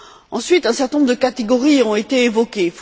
Ensuite, un certain nombre de catégories ont été évoquées.